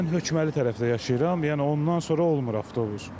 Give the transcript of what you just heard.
Mən Hökməli tərəfdə yaşayıram, yəni ondan sonra olmur avtobus.